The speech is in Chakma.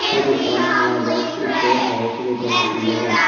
iyot ekkan hala box ekko agey sibey gomey sin naw pai.